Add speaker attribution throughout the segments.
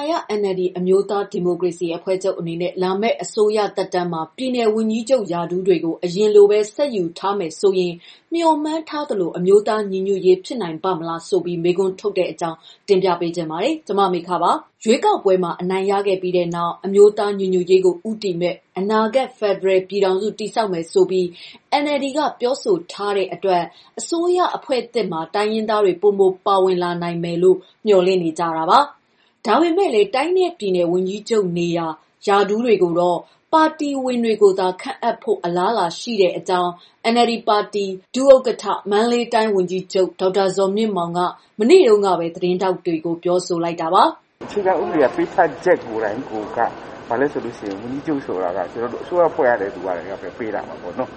Speaker 1: ာရ NLD အမျိုးသား ဒီမိုကရေစီ အဖွဲ့ချုပ်အနေနဲ့ လာမယ့် အစိုးရသက်တမ်းမှာ ပြည်နယ်ဝန်ကြီးချုပ် ရာထူးတွေကို အရင်လိုပဲ ဆက်ယူထားမယ်ဆိုရင် မျှော်မှန်းထားသလို အမျိုးသား ညီညွတ်ရေး ဖြစ်နိုင်ပါ့မလားဆိုပြီး မေးခွန်းထုတ်နေကြတဲ့အကြောင်း တင်ပြပါမယ်။ ဗွီအိုအေမြန်မာပိုင်း သတင်းထောက် မမေခက သတင်းပေးပို့ထားပါတယ်။ ရွေးကောက်ပွဲမှာ အနိုင်ရခဲ့ပြီးနောက် အမျိုးသားညီညွှတ်ရေးကို ဦးတည်မယ့် အနာဂတ်ဖယ်ဒရယ်ပြည်ထောင်စု တည်ဆောက်မယ်ဆိုပြီး NLD က ပြောဆိုထားတဲ့အတွက် အစိုးရအဖွဲ့သစ်မှာ တိုင်းရင်းသားတွေ ပိုမိုပါဝင်လာနိုင်မယ်လို့ မျှော်လင့်နေကြပါတယ်။ ဒါပေမဲ့လည်း တိုင်းနဲ့ပြည်နယ် ဝန်ကြီးချုပ်နေရာ ရာထူးတွေကိုတော့ ပါတီဝင်တွေကိုသာ ခန့်အပ်ဖို့ အလားအလာ ရှိနေတဲ့အကြောင်း NLD ပါတီ ဒုဥက္ကဋ္ဌ မန္တလေးတိုင်း ဝန်ကြီးချုပ် ဒေါက်တာဇော်မြင့်မောင်က မနေ့တုန်းကပဲ သတင်းထောက်တွေကို ပြောဆိုလိုက်တာ ဖြစ်ပါတယ်။ "အခြေခ
Speaker 2: ံဥပဒေ ပေးထားချက်ကိုယ်တိုင်ကိုက ဘာလဲဆိုတော့ ဝန်ကြီးချုပ်ဆိုတာ အစိုးရဖွဲ့ရတဲ့သူက ပေးတာပေါ့နော်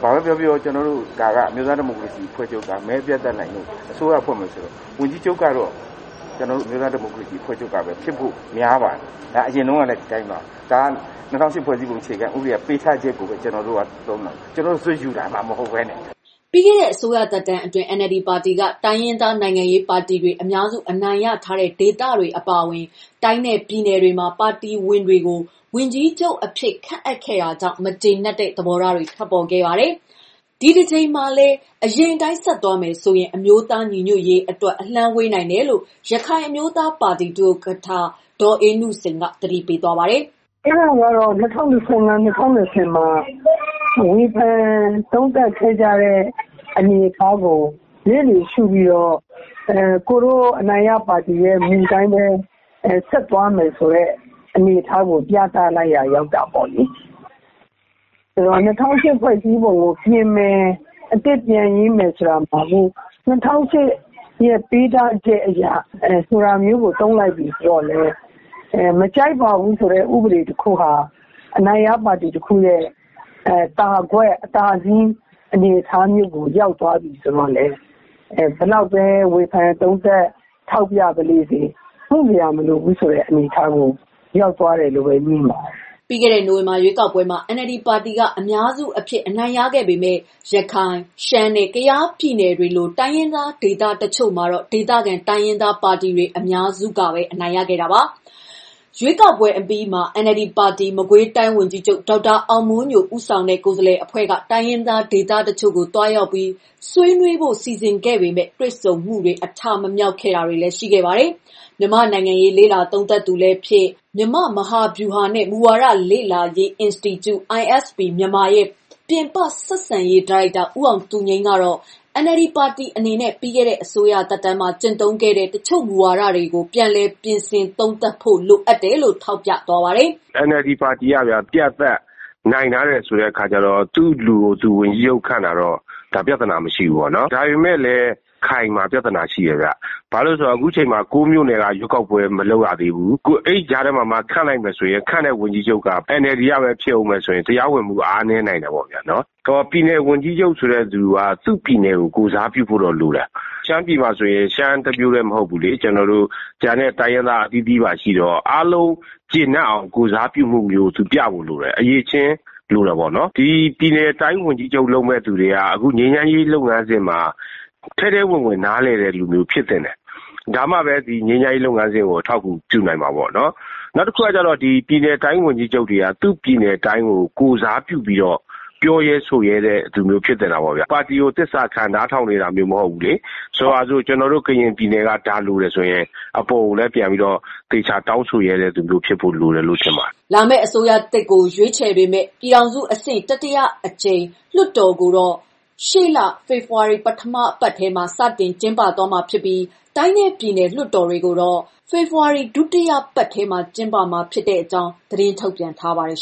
Speaker 2: ။ ဘာပဲပြောပြော ဒါက အမျိုးသားဒီမိုကရေစီအဖွဲ့ချုပ်က မဲအပြတ်အသတ်နိုင်လို့ အစိုးရဖွဲ့မယ်ဆိုရင် ဝန်ကြီးချုပ်ကတော့ ကျနော်တို့ အမျိုးသားဒီမိုကရေစီအဖွဲ့ချုပ်ကပဲ ဖြစ်ဖို့များပါတယ်။ အရင်တုန်းကလည်း ဒီအတိုင်းပါပဲ။ ၂၀၀၈ အခြေခံဥပဒေဖွဲ့စည်းပုံ ပေးထားချက်ကို ကျနော်တို့ သုံးတာ။ ကျနော်တို့ ဇွတ်ယူတာမှ မဟုတ်ဘဲနဲ့။
Speaker 1: " ပြီးခဲ့တဲ့ အစိုးရသက်တမ်းအတွင်း NLD ပါတီက တိုင်းရင်းသားနိုင်ငံရေးပါတီတွေ အများစု အနိုင်ရထားတဲ့ ဒေသတွေ အပါအဝင် တိုင်းနဲ့ပြည်နယ်တွေမှာ ပါတီဝင်တွေကို ဝန်ကြီးချုပ်အဖြစ် ခန့်အပ်ခဲ့တာကြောင့် မကျေနပ်တဲ့ သဘောထားတွေလည်း ထွက်ပေါ်ခဲ့ပါတယ်။ ဒီတကြိမ်မှာလည်း အရင်အတိုင်း ခန့်အပ်သွားမယ်ဆိုရင် အမျိုးသားညီညွတ်ရေးအတွက် အလှမ်းဝေးနိုင်တယ်လို့ ရခိုင်အမျိုးသားပါတီ ဒုဥက္ကဋ္ဌ ဒေါ်အေးနုစိန်က သတိပေးပါတယ်။
Speaker 3: "အဲဒါကတော့ ၂၀၁၅၊ ၂၀၂၀ မှာ ဝေဖန်သုံးသပ်ခဲ့ကြတဲ့ အနေအထားကို လျစ်လျူရှုပြီးတော့ အနိုင်ရပါတီရဲ့ မူအတိုင်းပဲ ဆက်သွားမယ်ဆိုတဲ့ အနေအထားကို ပြသလိုက်ရာ ရောက်တာပေါ့လေ။ ဆိုတော့ ၂၀၀၈ ဖွဲ့စည်းပုံကို ပြင်မယ်၊ အသစ်ပြန်ရေးမယ်ဆိုတာမှာ ၂၀၀၈ ရဲ့ ပေးထားချက်အရ... ဆိုတာမျိုးကို သုံးလိုက်ပြီဆိုတော့လည်း မကြိုက်ပါဘူးဆိုတဲ့ ဥပဒေတခုဟာ အနိုင်ရပါတီတခုရဲ့ သာကွက်၊ အသာအစီး အနေအထားမျိုးကို ရောက်သွားပြီဆိုတော့လည်း ဘယ်လောက်ပဲ ဝေဖန်သုံးသပ်ထောက်ပြပါလေစေ မုစရာမလိုဘူးဆိုတဲ့ အနေအထားမျိုးကို ရောက်သွားတယ်လို့ပဲ မြင်ပါတယ်။
Speaker 1: " ပြီးခဲ့တဲ့ နိုဝင်ဘာလ ရွေးကောက်ပွဲမှာ NLD ပါတီက အများစုအဖြစ် အနိုင်ရခဲ့ပေမဲ့ ရခိုင်၊ ရှမ်းနဲ့ ကယားပြည်နယ်တွေလို တိုင်းရင်းသားဒေသတချို့မှာတော့ ဒေသခံတိုင်းရင်းသား ပါတီတွေ အများစု အနိုင်ရခဲ့ကြတာပါ။ ရွေးကောက်ပွဲအပြီးမှာပဲ NLD ပါတီ မကွေးတိုင်းဝန်ကြီးချုပ် ဒေါက်တာအောင်မိုးညို ဦးဆောင်တဲ့ ကိုယ်စားလှယ်အဖွဲ့က တိုင်းရင်းသား ဒေသတချို့ကို သွားရောက်ပြီး ဆွေးနွေးဖို့ စီစဉ်ခဲ့ပေမဲ့ တွေ့ဆုံမှုတွေ အဋ္ဌမမြောက်ခဲ့တာတွေလည်း ရှိခဲ့ပါတယ်။ မြန်မာ့နိုင်ငံရေးလေ့လာသုံးသပ်သူလည်းဖြစ်၊ မြန်မာ့ မဟာဗျူဟာနဲ့ မူဝါဒလေ့လာရေး အင်စတီကျူ ရဲ့ ပြင်ပဆက်ဆံရေး ဒါရိုက်တာ ဦးအောင်သူငြိမ်းကတော့ NLD ပါတီအနေနဲ့ ပြီးခဲ့တဲ့ အစိုးရသက်တမ်းမှာ ကျင့်သုံးခဲ့တဲ့ တချို့မူဝါဒတွေကို ပြန်လည်သုံးသပ် ပြင်ဆင်ဖို့ လိုတယ်လို့ ထောက်ပြပါတယ်
Speaker 4: ။ "NLD ပါတီက အပြတ်အသတ်နိုင်ထားတယ်ဆိုတဲ့အခါကျတော့ သူ့လူကိုသူ ဝန်ကြီးချုပ်ခန့်တာတော့ ပြဿနာမရှိဘူးပေါ့နော်။ ဒါပေမဲ့လည်း ရခိုင်မှာ ပြဿနာရှိတယ်ဗျ။ ဘာလို့လည်းဆိုတော့ ခုချိန်မှာ ကိုးမြို့နယ်မှာ ရွေးကောက်ပွဲမလုပ်ရသေးဘူး။ အဲဒီကြားထဲမှာမှ ခန့်လိုက်မယ်ဆိုရင် ခန့်တဲ့ဝန်ကြီးချုပ်က NLD ကပဲ ဖြစ်ဦးမယ်ဆိုရင် တရားဝင်မှုက အားနည်းနိုင်တယ်။ ပြည်နယ်ဝန်ကြီးချုပ်ဆိုတဲ့သူက သူ့ပြည်နယ်ကို ကိုယ်စားပြုဖို့တော့လိုတယ်။ ရှမ်းပြည်မှာဆိုရင် ရှမ်းတမျိုးထဲမဟုတ်ဘူးလေ၊ ကျန်တဲ့ တိုင်းရင်းသားအသီးသီးပါရှိတော့ အားလုံး ကျေနပ်အောင်ကိုယ်စားပြုမှုမျိုး သူပြဖို့လိုတယ်။ အရည်အချင်းလိုတယ်ပေါ့နော်။ ဒီပြည်နယ်တိုင်းဝန်ကြီးချုပ်လုပ်မယ့်သူတွေက အခု ငြိမ်းချမ်းရေးလုပ်ငန်းစဉ်မှာ ထဲထဲဝင်ဝင်နားလည်တဲ့လူမျိုးဖြစ်သင့်တယ်။ ဒါမှလည်း ငြိမ်းချမ်းရေးလုပ်ငန်းစဉ်ကို အထောက်အကူပြုနိုင်မှာပေါ့နော်။ နောက်တခုက ပြည်နယ်တိုင်းဝန်ကြီးချုပ်တွေက သူ့ပြည်နယ်တိုင်းကို ကိုယ်စားပြုပြီးတော့ ပြောရဲဆိုရဲတဲ့သူမျိုး ဖြစ်သင့်တာပေါ့ဗျ။ ပါတီကို သစ္စာခံနားထောင်နေတာမျိုးမဟုတ်ဘူးလေ။ ဆိုပါတော့ ကျနော်တို့ ကရင်ပြည်နယ်က ဒါလိုတယ်ဆိုတယ်ဆိုရင် အပေါ်ကို ပြန်ပြီးတော့ သေချာပြန်တောင်းဆိုရဲတဲ့ သူမျိုးဖြစ်ဖို့လိုတယ်လို့ ထင်ပါတယ်
Speaker 1: ။" လာမယ့် အစိုးရသစ်ကို ရွေးချယ်ပေးမယ့် ပြည်ထောင်စုအဆင့် တတိယအကြိမ်လွှတ်တော်ကိုတော့ ရှေ့လ ဖေဖော်ဝါရီ ပထမပတ်ထဲမှာ စတင်ကျင်းပမှာဖြစ်ပြီး တိုင်းနဲ့ပြည်နယ် လွှတ်တော်တွေကိုတော့ ဒုတိယပတ်ထဲမှာ ကျင်းပမှာဖြစ်ကြောင်း သတင်းထုတ်ပြန်ထားပါတယ်